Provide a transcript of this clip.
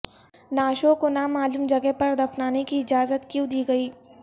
نعشوں کو نامعلوم جگہ پر دفنانے کی اجازت کیوں دی گئی